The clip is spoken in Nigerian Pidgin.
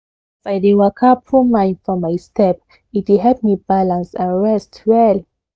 as i dey waka put mind for my step e dey help me balance and rest well